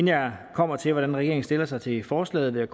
jeg kommer til hvordan regeringen stiller sig til forslaget vil